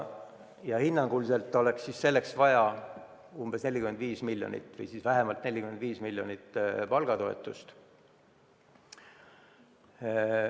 Ja hinnanguliselt on selleks vaja vähemalt 45 miljonit eurot palgatoetust.